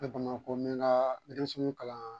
N bɛ bamakɔ n bi n ka demisɛnninw kalan